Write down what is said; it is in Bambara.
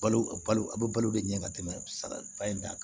Balo a balo a bɛ balo de ɲɛ ka tɛmɛ saga in ta kan